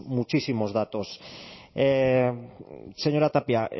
muchísimos datos señora tapia